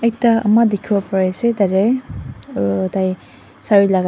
ta ama dikhiwo pariase tatae aru tai sare lakai--